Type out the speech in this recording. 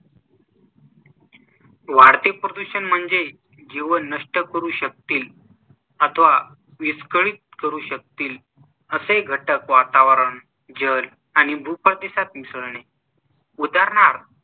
वाढते प्रदूषण म्हणजे जीवन नष्ट करू शकतील अथवा विस्कळीत करू शकतील असे घटक वातावरण, जल आणि भूप्रदेशात मिसळणे. उदाहरणार्थ